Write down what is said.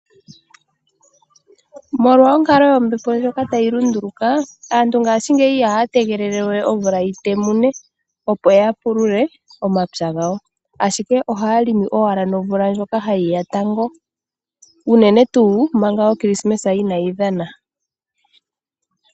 Molwa onkalo yombepo ndjoka ta yi lunduluka, aantu ngashingeyi iha ya tegelele we omvula yi temune opo ya pulule omapya gawo, ashike oha ya limi owala nomvula ndjoka ha yi ya tango unene tuu manga okrismesa inayi dhana.